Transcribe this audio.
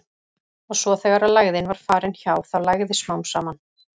Og svo þegar lægðin var farin hjá, þá lægði smám saman.